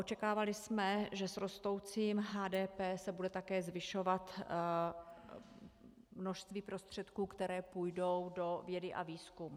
Očekávali jsme, že s rostoucím HDP se bude také zvyšovat množství prostředků, které půjdou do vědy a výzkumu.